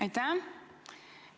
Aitäh!